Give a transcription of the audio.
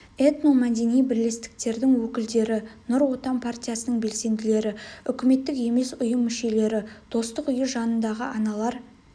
этномәдени бірлестіктердің өкілдері нұр отан партиясының белсенділері үкіметтік емес ұйым мүшелері достық үйі жанындағы аналар